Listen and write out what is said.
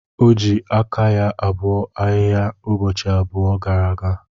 O ji aka ya gbuo ahihia ụbọchị abụọ gara aga.